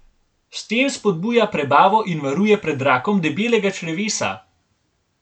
S tem spodbuja prebavo in varuje pred rakom debelega črevesa.